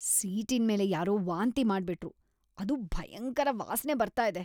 ಸೀಟಿನ್ಮೇಲೆ ಯಾರೋ ವಾಂತಿ ಮಾಡ್ಬಿಟ್ರು, ಅದು ಭಯಂಕರ ವಾಸ್ನೆ ಬರ್ತಾ ಇದೆ.